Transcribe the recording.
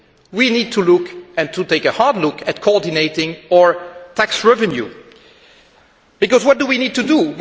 We need to look, and to take a hard look, at coordinating our tax revenue because, what do we need to do?